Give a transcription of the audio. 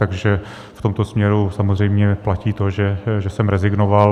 Takže v tomto směru samozřejmě platí to, že jsem rezignoval.